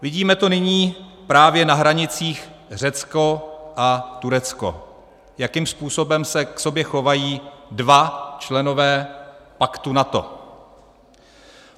Vidíme to nyní právě na hranicích Řecko a Turecko, jakým způsobem se k sobě chovají dva členové paktu NATO.